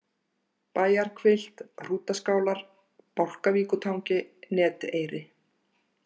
Bæjarhvilft, Hrútaskálar, Bálkavíkurtangi, Neteyri